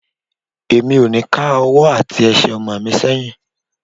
Mi ò ní ká ọwọ́ àti Ẹsẹ̀ ọmọ mi sẹ́yìn.